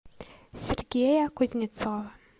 сергея кузнецова